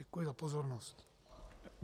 Děkuji za pozornost.